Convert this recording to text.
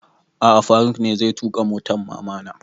A'a faruk ne zai tuƙa motan mama na